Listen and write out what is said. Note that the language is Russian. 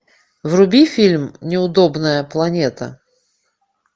вруби фильм неудобная планета